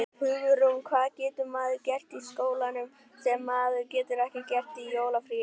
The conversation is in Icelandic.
Hugrún: Hvað getur maður gert í skólanum sem maður getur ekki gert í jólafríinu?